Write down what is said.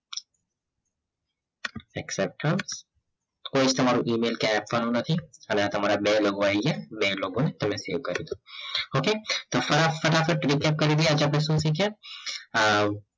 accept કોઈક તમારો mail ક્યાય આપવાનો નથી અને તમારા બે logo આવી ગયા તમે બે logo તમે કરી દો okay તો ફટાફટ આપણે આજે આપણે શીખી ગયા